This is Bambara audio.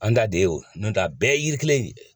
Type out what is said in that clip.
An da de ye o ye, n'o tɛ a bɛɛ yiri kelen ni ye.